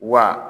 Wa